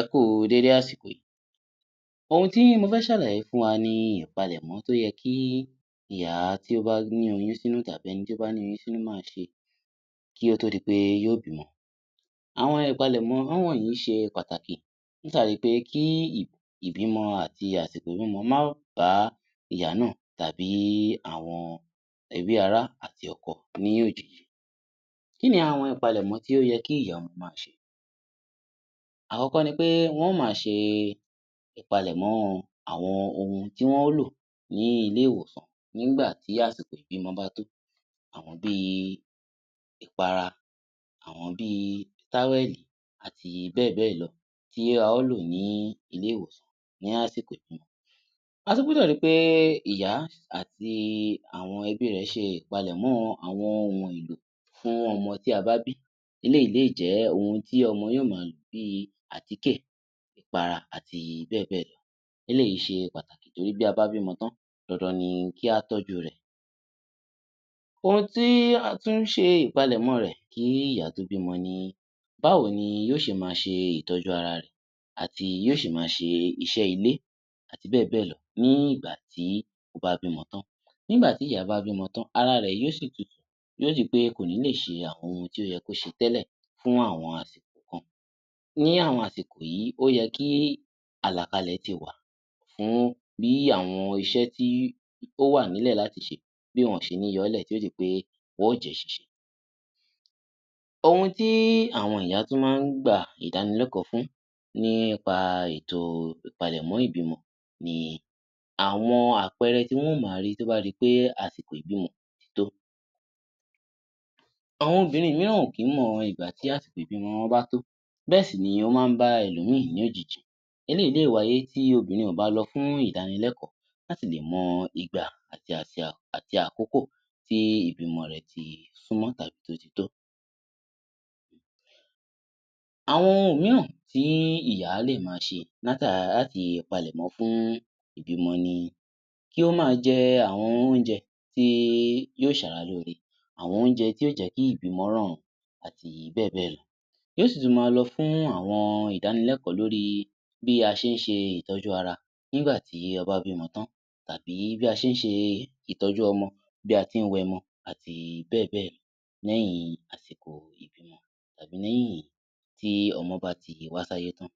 Ẹ kú u dédé àsìkò yìí. Ohun tí mo fẹ́ ṣàlàyé fún wa ni ìpalẹ̀mọ́ tó yẹ kí ìyá tí ó bá ní oyún sínú tàbí ẹni tí ó bá ní oyún sínú máa ṣe kí ó tó di pé yóó bímọ. Àwọn ìpalẹ̀mọ́ wọ̀nyí ṣe pàtàkì látàrí pé kí ìbímọ àti àsìkò ìbímọ má bá ìyá náà tàbí àwọn ẹbí, ara àti ọkọ ní òjijì. Kí ni àwọn ìpalẹ̀mọ́ tí ó yẹ kí ìyá ọmọ máa ṣe? Àkọ́kọ́ ni pé wọ́n ó máa ṣe ìpalẹ̀mọ́ àwọn ohun tí wọ́n ó lò ní ilé-ìwòsàn nígbà tí àsìkò ìbímọ bá tó. Àwọn bí i ìpara, àwọn bí i táwẹ̀lì àti bẹ́ẹ̀ bẹ́ẹ̀ lọ tí a ó lò ní ilé-ìwòsàn ní àsìkò ìbímọ. A tún gbúdọ̀ ri pé ìyá àti àwọn ẹbí rẹ̀ ṣe ìpalẹ̀mọ́ àwọn ohun èlò fún ọmọ tí a bá bí, eléyìí lè jẹ́ ohun tí ọmọ yóó máa lò bí i àtíkè, ìpara àti bẹ́ẹ̀ bẹ́ẹ̀ lọ. Eléyìí ṣe pàtàkì torí bí a bá bímọ tán, dandan ni kí á tọ́jú rẹ̀. Ohun tí a tún ń ṣe ìpalẹ̀mọ́ rẹ̀ kí ìyá tó bímọ ni; báwo ni yóó ṣe máa ṣe ìtọ́jú ara rẹ̀ àti yóó ṣe máa ṣe iṣẹ́ ilé àti bẹ́ẹ̀ bẹ́ẹ̀ lọ ní ìgbà tí ó bá bímọ tán. Nígbà tí ìyá bá bímọ tán, ara rẹ̀ yóó ṣì tutù, yóó di pé kò ní lè ṣe àwọn ohun tí ó yẹ kó ṣe tẹ́lẹ̀ fún àwọn àsìkò kan. Ní àwọn àsìkò yìí, ó yẹ kí àlàkalẹ̀ ti wà fún bí àwọn iṣé tí ó wà nílẹ̀ láti ṣe, bí wọn ò ṣe ní yọ ọ́ lẹ̀ tí yóó di pé wọ́n ó jẹ́ ṣíṣe. Ohun tí àwọn ìyá tún máa ń gba ìdánilẹ́kọ̀ọ́ fún nípa ètò ìpalẹ̀mọ́ ìbímọ ni: àwọn àpẹẹrẹ tí wọ́n ó máa rí tó bá di pé àsìkò ìbímọ ti tó. Àwọn obìnrin mìíràn ò kí ń mọ ìgbà tí àsìkò ìbímọ wọn bá tó, bẹ́ẹ̀ sì ni ó máa ń bá ẹlòmín-ìn ní òjijì. Eléyìí lè wáyé tí obìnrin ò bá lọ fún ìdánilẹ́kọ̀ọ́ láti lè mọ ìgbà àti àkókò tí ìbímọ rẹ ti súnmọ́ tàbí tí ó ti tó. Àwọn ohun mìíràn tí ìyá lè máa ṣe láti palẹ̀mó fún ìbímọ ni: kí ó máa jẹ àwọn oúnjẹ tí yóò ṣara lóore, àwọn oúnjẹ tí yóò jẹ́ kí ìbímọ rọrùn àti bẹ́ẹ̀ bẹ́ẹ̀ lọ. Yóò sì tún máa lọ fún àwọn ìdánilẹ́kọ̀ọ́ lórí bí a ṣe ń ṣe ìtọ́jú ara nígbà tí a bá bímọ tán tàbí bí a ṣe ń ṣe ìtọ́jú ọmọ, bí a ti ń wẹ ọmọ àti bẹ́ẹ̀ bẹ́ẹ̀ lọ lẹ́yìn àsìkò ìbímọ tàbí lẹ́yìn tí ọmọ bá ti wá sáyé tán.